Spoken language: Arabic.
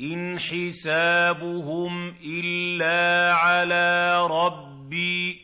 إِنْ حِسَابُهُمْ إِلَّا عَلَىٰ رَبِّي ۖ